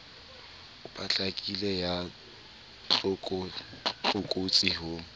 e potlakileng ya tlokotsi ho